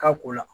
K'a ko la